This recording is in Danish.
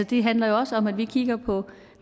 det handler også om at vi kigger på